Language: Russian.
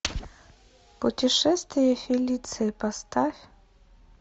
путешествие фелиции поставь